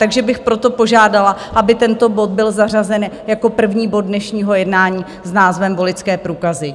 Takže bych proto požádala, aby tento bod byl zařazen jako první bod dnešního jednání s názvem Voličské průkazy.